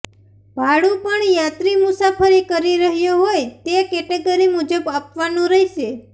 ભાડું પણ યાત્રી મુસાફરી કરી રહ્યો હોય તે કેટેગરી મુજબ આપવાનું રહેશે